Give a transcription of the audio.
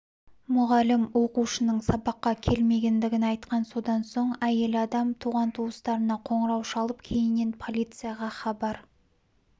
мұғалім оқушының сабаққа келмегендігін айтқан содан соң әйел адам туған-туыстарына қоңырау шалып кейіннен полицияға хабар